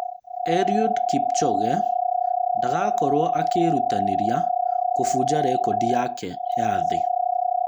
Eliud Kipchoge: ngadagakorwo akĩĩrutanĩria kũbunja rekodi yake ya thĩ